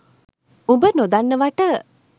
උඹ නොදන්නවට